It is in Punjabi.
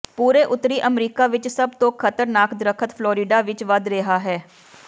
ਪੂਰੇ ਉੱਤਰੀ ਅਮਰੀਕਾ ਵਿਚ ਸਭ ਤੋਂ ਖ਼ਤਰਨਾਕ ਦਰਖ਼ਤ ਫਲੋਰਿਡਾ ਵਿਚ ਵਧ ਰਿਹਾ ਹੈ